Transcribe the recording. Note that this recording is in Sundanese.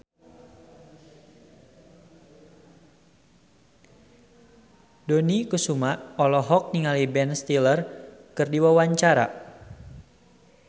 Dony Kesuma olohok ningali Ben Stiller keur diwawancara